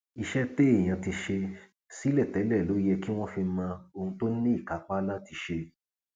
iṣẹ téèyàn ti ṣe sílẹ tẹlẹ ló yẹ kí wọn fi mọ ohun tó ní ìkápá láti ṣe